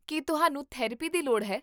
ਕੀ ਤੁਹਾਨੂੰ ਥੈਰੇਪੀ ਦੀ ਲੋੜ ਹੈ?